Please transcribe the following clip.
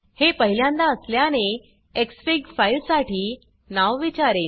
हे पहिल्यांदा असल्याने एक्सफिग फाइल साठी नाव विचारेल